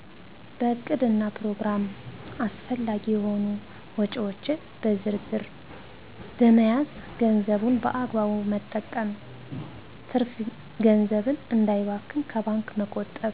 በዕቅድና ፕሮግራም አስፈላጊ የሆኑ ወጭዎች በዝርዝ በመያዝ ገንዘቡን በአግባቡ መጠቀም ትርፍ ገንዘብን እንዳይባክን ከባንክ መቆጠብ